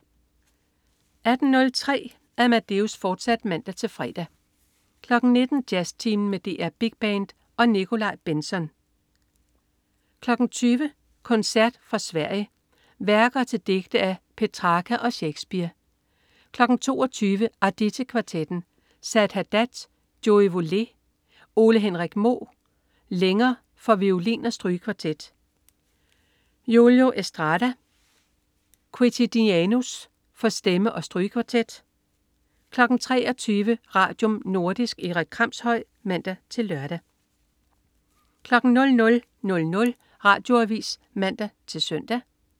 18.03 Amadeus, fortsat (man-fre) 19.00 Jazztimen med DR Big Band & Nikolaj Bentzon 20.00 Koncert fra Sverige. Værker til digte af Petrarca og Shakespeare 22.00 Arditti Kvartetten. Saed Haddad: Joie volée. Ole-Henrik Moe: Lenger, for violin og strygekvartet. Julio Estrada: Quotidianus, for stemme og strygekvartet 23.00 Radium. Nordisk. Erik Kramshøj (man-lør) 00.00 Radioavis (man-søn)